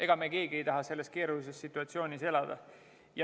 Ega me keegi ei taha selles keerulises situatsioonis elada.